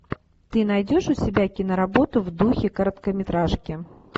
ты найдешь у себя киноработу в духе короткометражки